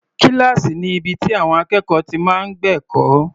Kíláàsì ni ibi tí àwọn akẹ́kọ̀ọ́ ti máa ń gbẹ̀kọ́.